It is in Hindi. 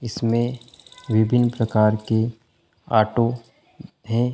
इसमें विभिन्न प्रकार के ऑटो है।